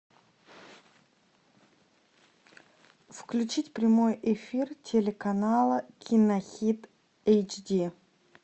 включить прямой эфир телеканала кинохит эйч ди